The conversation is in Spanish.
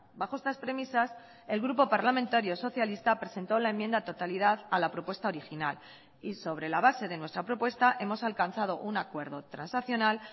bajo estas premisas el grupo parlamentario socialista presentó la enmienda a la totalidad a la propuesta original y sobre la base de nuestra propuesta hemos alcanzado un acuerdo transaccional